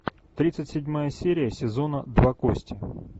тридцать седьмая серия сезона два кости